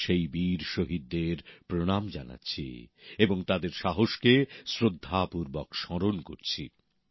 আমি সেই বীর শহীদদের প্রণাম জানাচ্ছি এবং তাদের সাহসকে শ্রদ্ধাপূর্বক স্মরণ করছি